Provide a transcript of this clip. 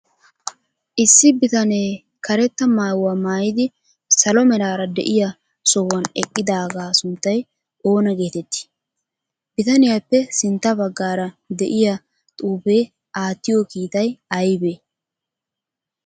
Issi bitanee kareeta maayuwa maayidi salo meraara de'iya sohuwan eqqidagaa sunttay oona geteetti? Bitaniyappe sintta baggara de'iya xuufe attiyo kiitay aybee?